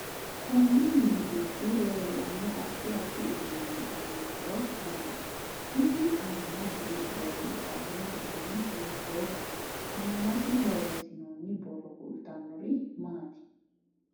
Konni mini giddi leelanno addi addi uduuni aano horo maati isi aana buurooni qalamete dani hiitooho aanasi boreesinooni borro kultanori maati